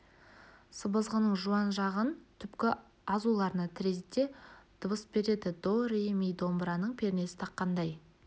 сыбызғының жуан жағын түпкі азуларына тірейді де дыбыс береді до ре ми домбыраның пернесін таққандай